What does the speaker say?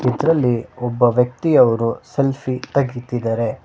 ಇದರಲ್ಲಿ ಒಬ್ಬ ವ್ಯಕ್ತಿ ಅವರು ಸೆಲ್ಫಿ ತೆಗಿದಿದ್ದಾರೆ.